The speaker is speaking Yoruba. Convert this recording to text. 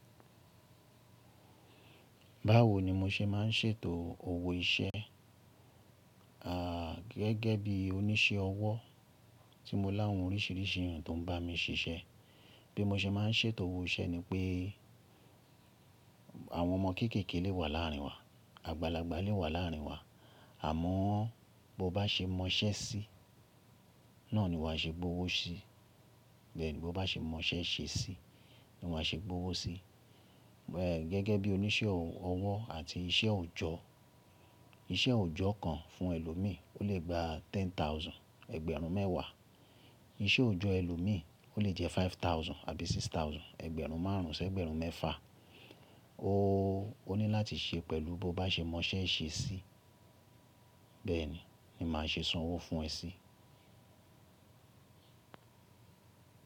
Báwo ni mo ṣe má ń ṣètò owó iṣẹ́, à gẹ́gẹ́ bí oníṣẹ́ ọwọ́ tí mo láhun oríṣìíríṣìí ǹkan tó ń bá mi ṣíṣẹ́. Bí mo ṣe má ń ṣètò owó iṣẹ́ ni pé àwọn ọmọ kéékèèké lè wà láàárín wa, àgbàlagbà lè wà láàárín wa, àmọ́ bó bá ṣe mọṣẹ́ sí, náà ni wà á ṣe gbówó sí. Bẹ́ẹ̀ ni bó bá ṣe mọṣẹ́ ṣe sí, ni wà á ṣe gbówó sí. Ẹ̀ gẹ́gẹ́ bí oníṣẹ́ ọwọ́ àti iṣẹ́ òjọ́, iṣẹ́ òjọ́ kan fún ẹlòmíì o lè gba ten thousand, ẹgbẹ̀rún mẹ́wàá. Iṣẹ́ òjọ́ ẹlòmíì o lè jẹ́ five thousand àbí six thousand, ẹgbẹ̀rún márùn ún ṣẹ́ ẹgbẹ̀rún mẹ́fà. O ó ní láti ṣe pẹ̀lú bó bá ṣe mọṣẹ́ ṣe sí, bẹ́ẹ̀ ni ni màá ṣe san owó fún ẹ sí.